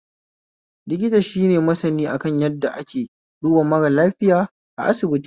Likita shine masani akan yadda ake duba mara lafoiya a asibiti